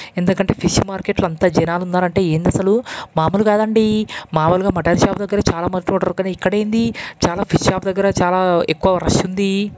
ఎందకంటే fish మార్కెట్లో అంత జనాలు ఉన్నారు. అంటే ఏంది అసలు మముల్ కదండీ మాములు గా మటన్ షాప్ దగ్గర చాలా మంది వుంటారు. కానీ ఇక్కడ ఏంది చాలా ఫిష్ షాప్ చాలా ఎక్కువ రష్ ఉంది.